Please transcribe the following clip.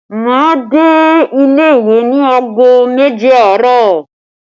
Máa dé ilé ìwé ní aago méje àárọ̀